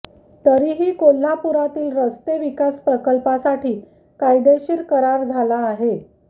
तरीही कोल्हापुरातील रस्ते विकास प्रकल्पासाठी कायदेशीर करार झाला आहे